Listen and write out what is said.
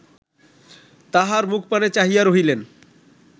তাঁহার মুখপানে চাহিয়া রহিলেন